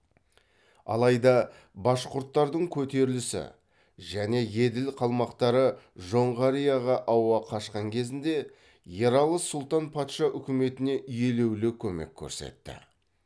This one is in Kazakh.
алайда башқүрттардың көтерілісі және еділ қалмақтары жоңғарияға ауа қашқан кезінде ералы сұлтан патша үкіметіне елеулі көмек көрсетті